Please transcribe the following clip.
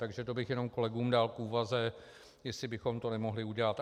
Takže to bych jenom kolegům dal k úvaze, jestli bychom to nemohli udělat.